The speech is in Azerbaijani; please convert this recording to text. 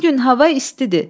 Bu gün hava istidir.